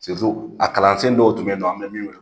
a kalansen dɔw tun be yen non an bɛ min wele